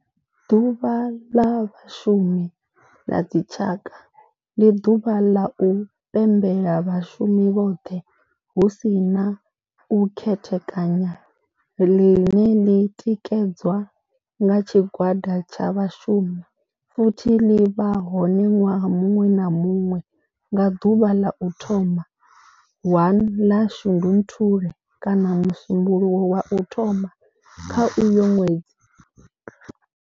Ḓuvha la vhashumi la dzi tshaka, ndi ḓuvha la u pembela vhashumi vhothe hu si na u khethekanya ḽine ḽi tikedzwa nga tshigwada tsha vhashumi futhi ḽi vha hone nwaha munwe na munwe nga ḓuvha ḽa u thoma 1 ḽa Shundunthule kana musumbulowo wa u thoma kha uyo nwedzi.